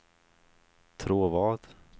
Tråvad